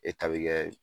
kɛ